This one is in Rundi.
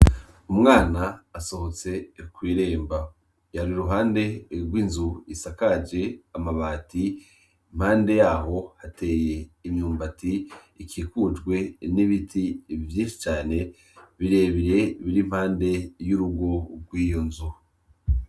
Umwana asohotse ikwiremba yari ruhande erwo inzu isakaje amabati mpande yaho hateye imyumbati ikikujwe n'ibiti bivyishi cane birebire biri impande y'urugo rw'iyo nzu.